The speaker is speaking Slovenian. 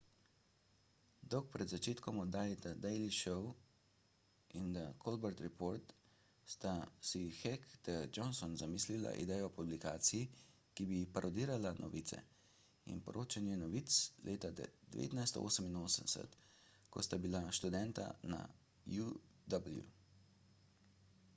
dolgo pred začetkom oddaj the daily show in the colbert report sta si heck ter johnson zamislila idejo o publikaciji ki bi parodirala novice – in poročanje novic – leta 1988 ko sta bila študenta na uw